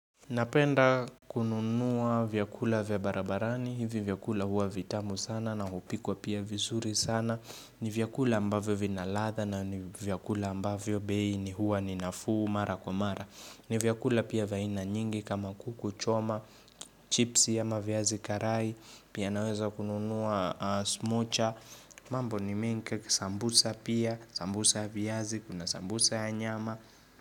Napenda kununua vyakula vya barabarani, hivi vyakula huwa vitamu sana na hupikwa pia vizuri sana ni vyakula ambavyo vina ladha na ni vyakula ambavyo bei ni huwa ni nafuu mara kwa mara ni vyakula pia vya aina nyingi kama kuku choma, chipsi ama viazi karai, pia naweza kununuwa smocha mambo ni mengi sambusa pia, sambusa ya viazi, kuna sambusa ya nyama.